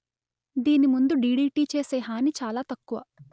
దీని ముందు డిడిటి చేసే హాని చాలా తక్కువ